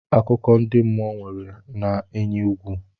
Akụkọ ndị mmụọ nwere na-enyi egwu.